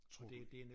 Tror du